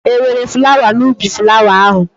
E nwere flawa n'ubi flawa ahụ?